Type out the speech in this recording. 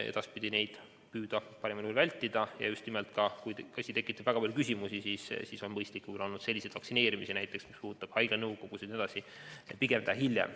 Edaspidi tuleks püüda neid parimal juhul vältida ja kui asi tekitab väga palju küsimusi, siis on mõistlikum näiteks sellised vaktsineerimised, mis puudutavad haigla nõukogu jne, pigem teha hiljem.